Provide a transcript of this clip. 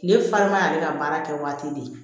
Kile farima y'ale ka baara kɛ waati de